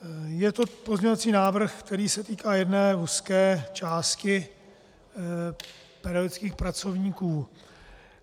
Je to pozměňovací návrh, který se týká jedné úzké části pedagogických pracovníků.